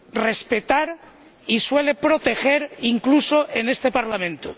respetar y suele proteger, incluso en este Parlamento.